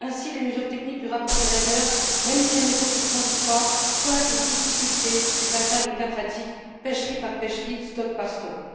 Ainsi, les mesures techniques du rapport Gallagher, même si elles ne sont que transitoires, pointent les difficultés du passage aux cas pratiques, pêcherie par pêcherie, stock par stock.